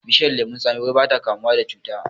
Bishiyar lemon tsami wai bata kamuwa da cuta